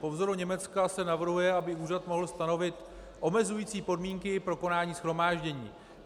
Po vzoru Německa se navrhuje, aby úřad mohl stanovit omezující podmínky pro konání shromáždění.